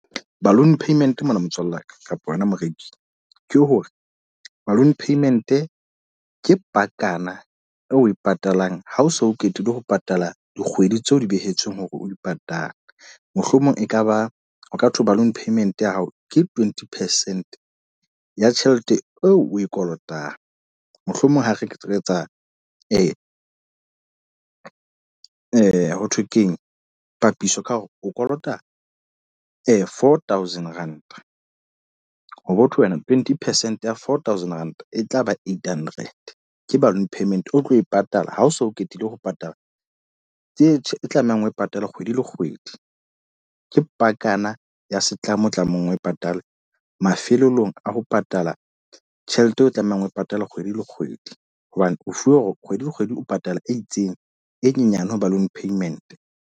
Balloon payment mona motswalle wa ka, kapa yona moreki. Ke hore balloon payment ke pakana eo o e patalang ha o so qetile ho patala dikgwedi tse o di behetsweng hore o di patale. Mohlomong ekaba, ho ka thwe balloon payment ya hao ke twenty percent ya tjhelete eo o e kolotang. Mohlomong ho re ke tlo etsa ya ho thwe keng, papisong ka hore o kolota four thousand rand. Ho botho wena twenty percent ya four thousand Rand e tlaba eight hundred, ke balloon payment. O tlo e patala ha o so qetile ho patala, tse tlamehang ho e patale kgwedi le kgwedi. Ke pakana ya setlamo tlamang o e patale mafelelong a ho patala tjhelete eo o tlamehang ho e patala kgwedi le kgwedi. Hobane o fuwe hore kgwedi le kgwedi o patala e itseng, e nyenyane ho balloon payment.